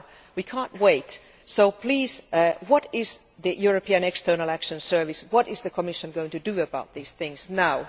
We cannot wait, so please, what are the European External Action Service and the Commission going to do about these things now?